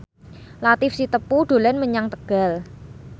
Latief Sitepu dolan menyang Tegal